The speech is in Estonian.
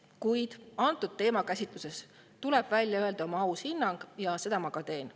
Kuid antud teema käsitluses tuleb välja öelda oma aus hinnang ja seda ma ka teen.